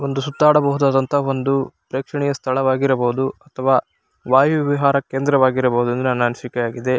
ಒಂದು ಸುತ್ತಾಡಬಹುದಾದ ಒಂದು ಪ್ರೇಕ್ಷಣೀಯ ಸ್ಥಳವಾಗಿರಬಹುದು ಅಥವಾ ವಾಯು ವಿಹಾರ ಕೇಂದ್ರವಾಗಿರಬಹುದು ಎಂದು ನನ್ನ ಅನ್ಸಿಕೆಯಾಗಿದೆ.